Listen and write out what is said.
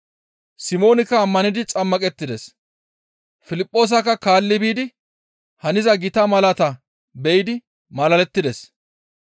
Simoonikka ammanidi xammaqettides; Piliphoosakka kaalli biidi haniza gita malaataa be7idi malalettides.